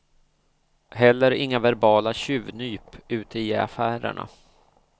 Heller inga verbala tjuvnyp ute i affärerna.